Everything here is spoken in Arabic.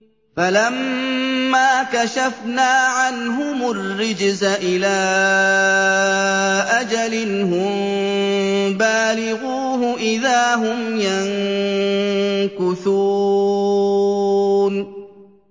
فَلَمَّا كَشَفْنَا عَنْهُمُ الرِّجْزَ إِلَىٰ أَجَلٍ هُم بَالِغُوهُ إِذَا هُمْ يَنكُثُونَ